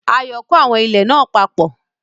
Ayọ̀ kó àwọn ilẹ̀ náà papọ̀